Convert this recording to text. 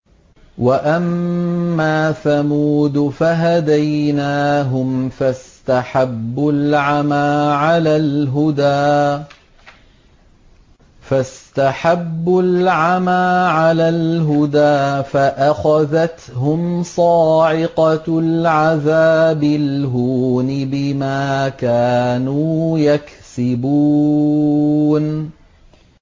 وَأَمَّا ثَمُودُ فَهَدَيْنَاهُمْ فَاسْتَحَبُّوا الْعَمَىٰ عَلَى الْهُدَىٰ فَأَخَذَتْهُمْ صَاعِقَةُ الْعَذَابِ الْهُونِ بِمَا كَانُوا يَكْسِبُونَ